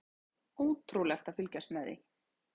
Ótrúlegt að fylgjast með því.